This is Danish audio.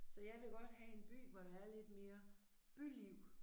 Så jeg vil godt have en by hvor der er lidt mere byliv